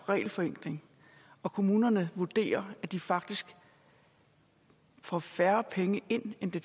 regelforenkling og kommunerne vurderer at de faktisk får færre penge ind end det